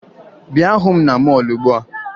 Bịa hụ m na mọọlụ ugbua!